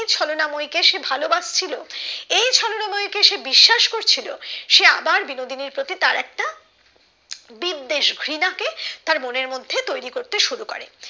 ছলনাময়ী কে সে ভালোবাসছিলো এই ছলনাময়ী কে বিশ্বাস করছিলো সে আবার বিনোদিনীর প্রতি তা একটা বিদ্বেষ ঘৃণা কে তার মনের মধ্যে তৈরি করতে শুরু করে